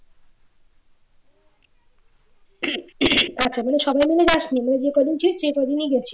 আচ্ছা মানে সবাই মিলে যাসনি মানে যে কয়জন ছিল সে কয়জনই গিয়েছিলি